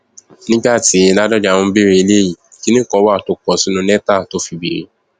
nígbà tí ládónjá ń béèrè ilé yìí kinní kan wà tó kọ sínú lẹtà tó fi béèrè